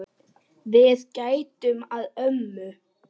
Við gætum að ömmu.